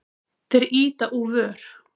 Þeir ýta úr vör.